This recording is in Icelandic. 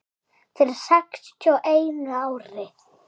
Fyrir sextíu og einu ári.